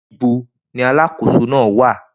Nibo ni aláàkòso naa wa?